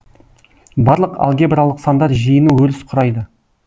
барлық алгебралық сандар жиыны өріс құрайды